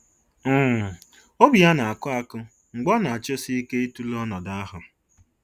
um Obi ya na-akụ akụ mgbe ọ na-achọsị ike ịtụle ọnọdụ ahụ.